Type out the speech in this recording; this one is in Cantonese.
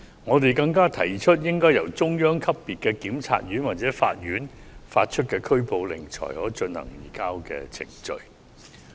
我們更提議須由中央級別的檢察院或法院發出拘捕令，才可進行移交程序。